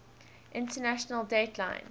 international date line